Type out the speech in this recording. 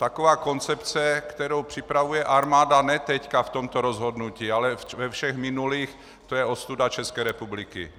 Taková koncepce, kterou připravuje armáda ne teď v tomto rozhodnutí, ale ve všech minulých, to je ostuda České republiky!